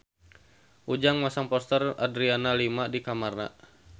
Ujang masang poster Adriana Lima di kamarna